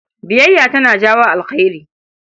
Biyayya tana jawo alheri.